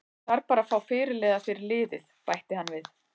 Ég þarf bara að fá fyrirliða fyrir liðið, bætti hann við.